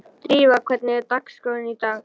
Drífa, hvernig er dagskráin í dag?